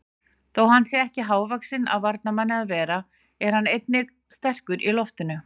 Þó hann sé ekki hávaxinn af varnarmanni að vera er hann einnig sterkur í loftinu.